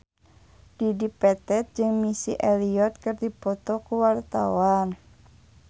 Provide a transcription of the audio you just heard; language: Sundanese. Dedi Petet jeung Missy Elliott keur dipoto ku wartawan